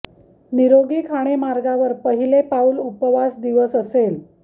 निरोगी खाणे मार्गावर पहिले पाऊल उपवास दिवस असेल